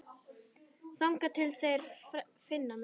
Þangað til þeir finna mig.